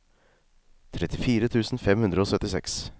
trettifire tusen fem hundre og syttiseks